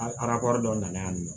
A arakɔrɔ dɔw nana yan nɔ